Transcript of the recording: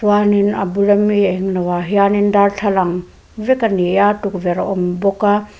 chuanin a bul ami englo ah hianin darthlalang vek ani a tukverh a awm bawka a.